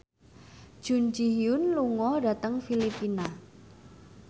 Jun Ji Hyun lunga dhateng Filipina